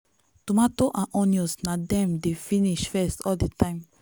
tomato and onion na them dey finish first all the time.